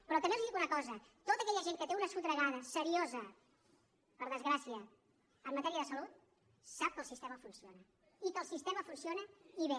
però també els dic una cosa tota aquella gent que té una sotragada seriosa per desgràcia en matèria de salut sap que el sistema funciona i que el sistema funciona i bé